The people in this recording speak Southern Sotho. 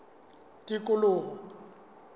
tikoloho